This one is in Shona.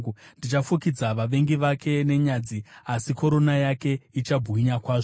Ndichafukidza vavengi vake nenyadzi, asi korona yake ichabwinya kwazvo.”